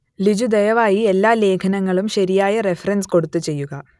ലിജു ദയവായി എല്ലാ ലേഖനങ്ങളും ശരിയായ റെഫറൻസ് കൊടുത്ത് ചെയ്യുക